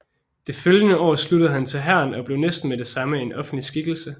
Det følgende år sluttede han til hæren og blev næsten med det samme en offentlig skikkelse